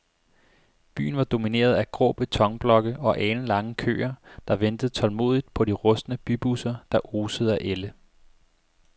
Byen var domineret af grå betonblokke og alenlange køer, der ventede tålmodigt på de rustne bybusser, der osede af ælde.